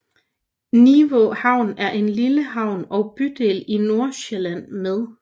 Nivå Havn er en lille havn og bydel i Nordsjælland med